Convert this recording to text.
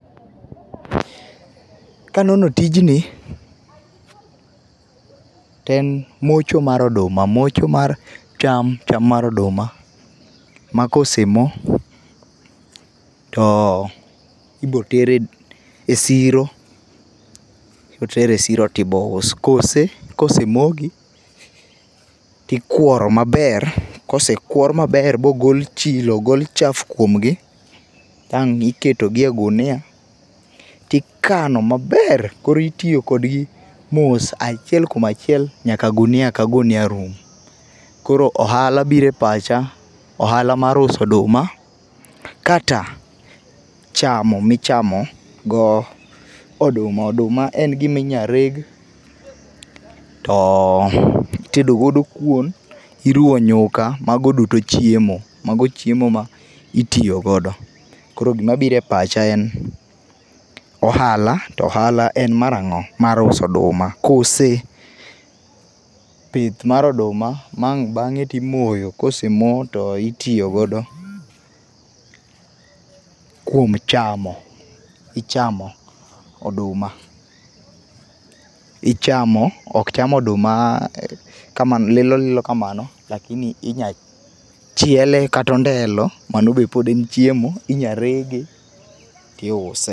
Kanono tijni ,to en mocho mar oduma, mocho mar cham, cham mar oduma ma kosemo to ibo tere e siro, ibo ter e siro tibo us, kose kosemogi tikuoro maber kosekuor maber mogol chilo, ogol chafu kuomgi tang' iketogi e gunia tikano maber koro itiyo kodgi mos achiel kuom achiel nyaka gunia ka gunia rum. Koro ohala biro e pacha, ohala mar uso oduma kata chamo michamo go oduma. Oduma en gima inya reg to itedo godo kuon, iruwo nyuka, mago duto chiemo, mago chiemo maitiyo godo, koro gima biro e pacha en ohala, to ohala en mar ango, mar uso oduma kose?.Pith mar oduma ma ang' bang'e to imoyo, kosemo to itiyo godo kuom chamo, ichamo oduma, ichamo, ok cham oduma kama lilo lilo kamano lakini inya chiele kata ondelo mano be pod en mana chiemo, inya rege tiuse